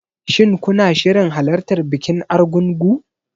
Shin kuna shirin halartar bikin Argungu?